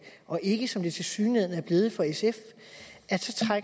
og ikke som det tilsyneladende er blevet for sf